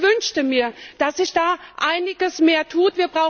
Ich wünschte mir, dass sich da einiges mehr tut.